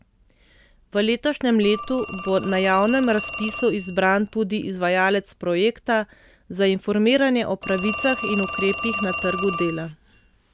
V letošnjem letu bo na javnem razpisu izbran tudi izvajalec projekta za informiranje o pravicah in ukrepih na trgu dela.